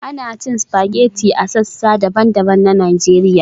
Ana cin spaghetti a sassa daban-daban na Najeriya